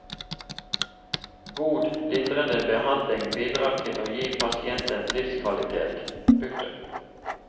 God lindrende behandling bidrar til å gi pasienten livskvalitet. punktum